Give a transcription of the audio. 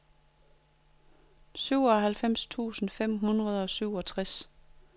syvoghalvfems tusind fem hundrede og syvogtres